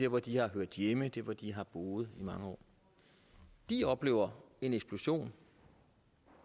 hvor de har hørt hjemme der hvor de har boet i mange år de oplever en eksplosion